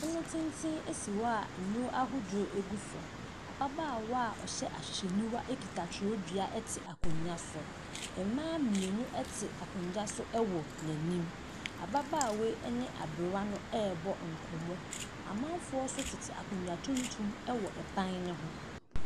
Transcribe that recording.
Pono tenten si hɔ a nnuro ahodoɔ gu so. Ababaawa a ɔhyɛ ahwehwɛniwa kuta twerɛdua te akonnwa so. Mmaa mmienu te akonnwa so wɔ n'anim. Ababaawa yi ne aberewa no rebɔ nkɔmmɔ. Amanfoɔ nso tete akonnwa tuntum wɔ ban no ho.